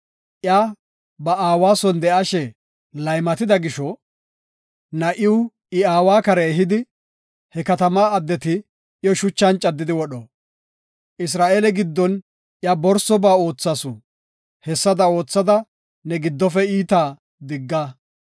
iya ba aawa son de7ashe laymatida gisho, na7iw I aawa kare ehidi, he katamaa addeti iyo shuchan caddidi wodho. Isra7eele giddon iya borsoba oothasu; hessada oothada ne giddofe iitaa digga.